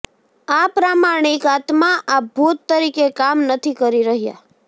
આ પ્રામાણિક આત્મા આ ભૂત તરીકે કામ નથી કરી રહ્યા